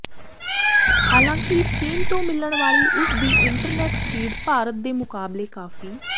ਹਾਲਾਂਕਿ ਚੀਨ ਤੋਂ ਮਿਲਣ ਵਾਲੀ ਉਸਦੀ ਇੰਟਰਨੈੱਟ ਸਪੀਡ ਭਾਰਤ ਦੇ ਮੁਕਾਬਲੇ ਕਾਫ਼ੀ